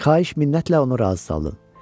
Xahiş minnətlə onu razı saldım.